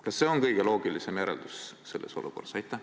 Kas see on kõige loogilisem järeldus selles olukorras?